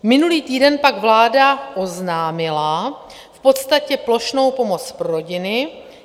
Minulý týden pak vláda oznámila v podstatě plošnou pomoc pro rodiny.